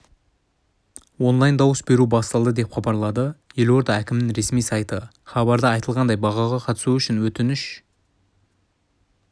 онлайн-дауыс беру басталды деп хабарлады елорда әкімінің ресми сайты хабарда айтылғандай байқауға қатысу үшін өтініш